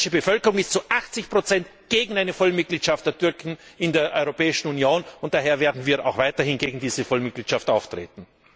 Die österreichische Bevölkerung ist zu 80 gegen eine Vollmitgliedschaft der Türken in der Europäischen Union, und daher werden wir auch weiterhin gegen diese Vollmitgliedschaft auftreten.